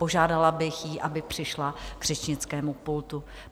Požádala bych ji, aby přišla k řečnickému pultu.